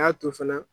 Y'a to fana